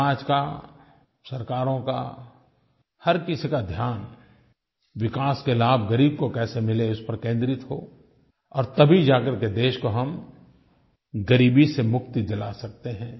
समाज का सरकारों का हर किसी का ध्यान विकास के लाभ ग़रीब को कैसे मिलें उस पर केन्द्रित हो और तभी जाकर के देश को हम ग़रीबी से मुक्ति दिला सकते हैं